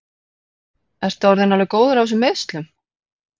Ertu orðinn alveg góður af þessum meiðslum?